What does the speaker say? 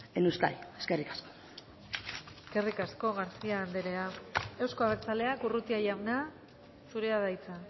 en euskadi eskerrik asko eskerrik asko garcía andrea euzko abertzaleak urrutia jauna zurea da hitza